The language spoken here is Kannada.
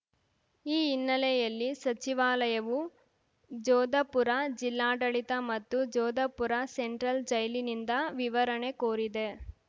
ಈ ಹಿನ್ನೆಲೆಯಲ್ಲಿ ಸಚಿವಾಲಯವು ಜೋಧಪುರ ಜಿಲ್ಲಾಡಳಿತ ಮತ್ತು ಜೋಧಪುರ ಸೆಂಟ್ರಲ್‌ ಜೈಲಿನಿಂದ ವಿವರಣೆ ಕೋರಿದೆ